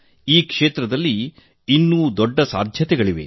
ಈ ಕ್ಷೇತ್ರದಲ್ಲಿ ಇನ್ನೂ ದೊಡ್ಡ ಸಾಧ್ಯತೆಗಳಿವೆ